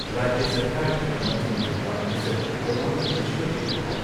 ꯔꯥꯖ꯭ꯌ ꯁꯔꯀꯥꯔꯒꯤ ꯃꯆꯤꯟ ꯆꯠꯄ ꯃꯤꯁꯛ ꯊꯣꯉꯥꯝ ꯕꯤꯁ꯭ꯋꯖꯤꯠꯅ ꯍꯥꯏ